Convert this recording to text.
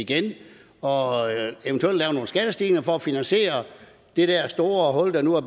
igen og eventuelt lave nogle skattestigninger for at finansiere det der store hul der nu er